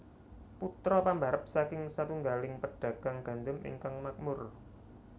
Putra pambarep saking satunggaling pedagang gandum ingkang makmur